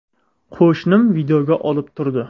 Qo‘shnim videoga olib turdi.